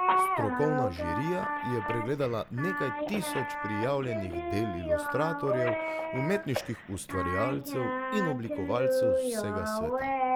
Strokovna žirija je pregledala nekaj tisoč prijavljenih del ilustratorjev, umetniških ustvarjalcev in oblikovalcev z vsega sveta.